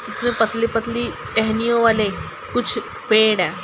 उसमें पतली पतली टहनियों वाले कुछ पेड़ हैं।